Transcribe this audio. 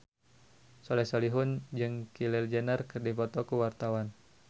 Soleh Solihun jeung Kylie Jenner keur dipoto ku wartawan